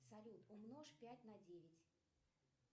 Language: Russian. салют умножь пять на девять